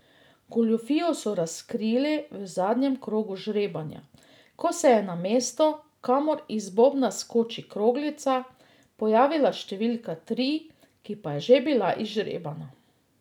Goljufijo so razkrili v zadnjem krogu žrebanja, ko se je na mestu, kamor iz bobna skoči kroglica, pojavila številka tri, ki pa je že bila izžrebana.